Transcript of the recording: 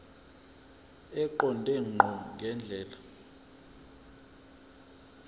eqonde ngqo ngendlela